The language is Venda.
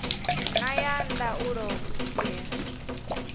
na ya ndaulo u itela